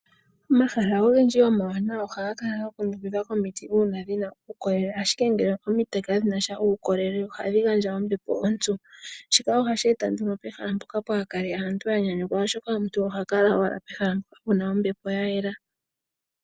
Omahala ogendji omawanawa ohaga kala ga kundukidhwa komiti uuna dhi na uukolele. Ashike ngele omiti kadhi na sha uukolele ohadhi gandja ombepo ompyu. Shika ohashi eta nduno pehala mpono kaapu kale aantu ya nyanyukwa oshoka omuntu oha kala owala pehala mpono pu na ombepo ya yela.